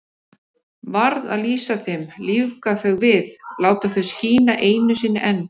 Varð að lýsa þeim, lífga þau við, láta þau skína einu sinni enn.